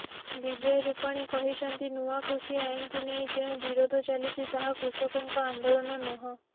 ବିଜୟ ରୂପାଣୀ କହିଛନ୍ତି ନୂଆ କୃଷି ଆଇନକୁ ନେଇ ଯେଉଁ ବିରୋଧ ଚାଲିଛି ତାହା କୃଷକଙ୍କ ଆନ୍ଦୋଳନ ନୁହଁ